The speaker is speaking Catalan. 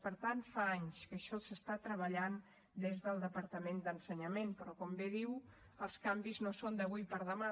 per tant fa anys que això s’està treballant des del departament d’ensenyament però com bé diu els canvis no són d’avui per demà